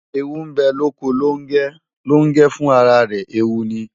Eewu bę loko Longę, Longę fun ara rę eewu ni